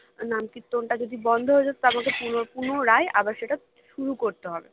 নামকীর্তনটা যদি বন্ধ হয়ে যায় তো আমাকে পুনো~পুনরায় আবার সেটা শুরু করতে হবে